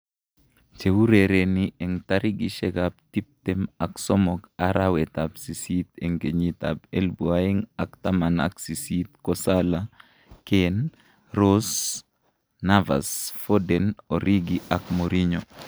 Cheurereni eng tarikishek ab tip tem ak somok arawet ab sisit eng kenyit ab elipu aeng ak taman ak sisit ko Salah, Kane, Rose, Navas, foden, origi ak Mourinho.